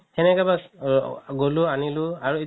সেনেকে বাচ গ'লো আনিলো আৰু